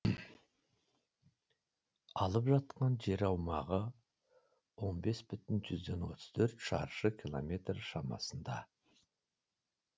алып жатқан жер аумағы он бес бүтін отыз төрт шаршы километр шамасында